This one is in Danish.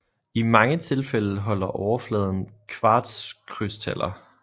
I mange tilfælde holder overfladen kvartskrystaller